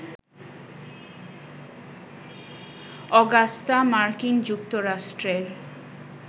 Augusta মার্কিন যুক্তরাষ্ট্রের